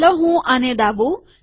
ચાલો હું આને દાબુ